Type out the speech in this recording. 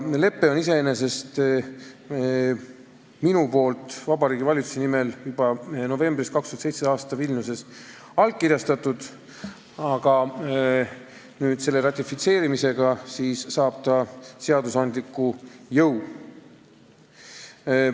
Mina olen iseenesest leppe Vabariigi Valitsuse nimel 2017. aasta novembris Vilniuses allkirjastanud, aga nüüd saab see ratifitseerimisega seadusandliku jõu.